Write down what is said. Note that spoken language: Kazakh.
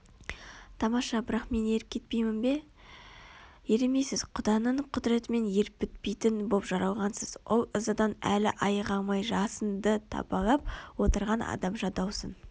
тамаша бірақ мен еріп кетпеймін бе ерімейсіз Құданың құдіретімен еріп бітпейтін боп жаралғансыз ол ызадан әлі айыға алмай жасынды табалап отырған адамша даусын